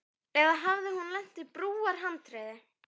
Eða hafði hún lent á brúarhandriði.